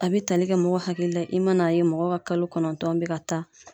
A be tali kɛ mɔgɔ hakili la ye i ma na ye mɔgɔ ka kalo kɔnɔntɔn be ka taa